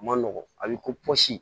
A ma nɔgɔn a bɛ kosi